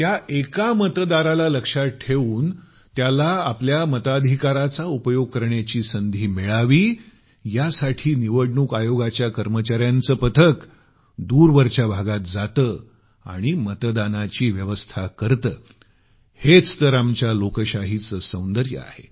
त्या एका मतदाराला लक्षात ठेवून त्याला आपल्या मताधिकाराचा उपयोग करण्याची संधी मिळावी यासाठी निवडणूक आयोगाच्या कर्मचार्यांचं पथक दूरवरच्या भागांत जातं आणि मतदानाची व्यवस्था करतं हेच तर आमच्या लोकशाहीचं सौंदर्य आहे